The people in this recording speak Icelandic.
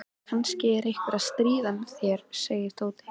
Kannski er einhver að stríða þér sagði Tóti.